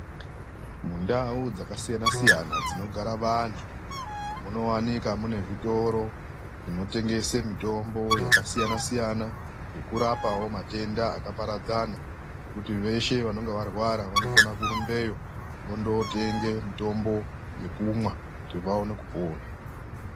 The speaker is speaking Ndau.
Mundau dzakasiyana siyana, dzinogare vantu munowanikwa zvitoro zvakasiyana siyana, zvinotengese mitombo zvinorape matenda akawanda, kuti veshe vanonga varwa vanokona kurumbeyo kuti vatenge mutombo wekumwa kuti vawane kupona.